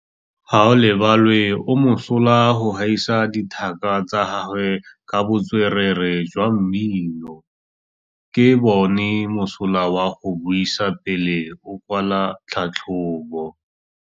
Gaolebalwe o mosola go gaisa dithaka tsa gagwe ka botswerere jwa mmino. Ke bone mosola wa go buisa pele o kwala tlhatlhobô.